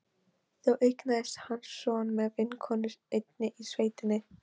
Þó eignaðist hann son með vinnukonu einni í sveitinni.